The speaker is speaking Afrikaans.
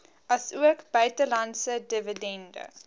asook buitelandse dividende